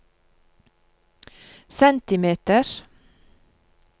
centimeters